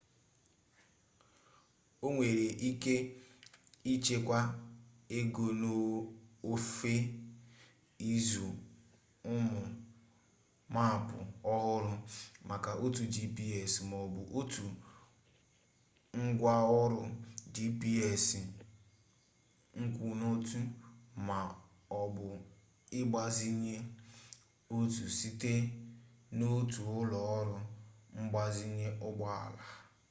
o nwere ike ichekwa ego n'ofe ịzụ ụmụ maapụ ọhụrụ maka otu gps ma ọ bụ otu ngwaọrụ gps nkwụnotu ma ọ bụ ịgbazinye otu site n'otu ụlọ ọrụ mgbazinye ụgbọala